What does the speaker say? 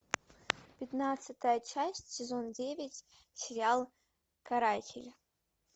пятнадцатая часть сезон девять сериал каратель